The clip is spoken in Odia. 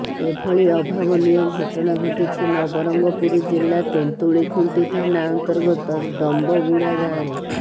ଏଭଳି ଅଭାବନୀୟ ଘଟଣା ଘଟିଛି ନବରଙ୍ଗପୁର ଜିଲ୍ଲା ତେନ୍ତୁଳିଖୁଣ୍ଟି ଥାନା ଅନ୍ତର୍ଗତ ଡମ୍ବଗୁଡା ଗାଁରେ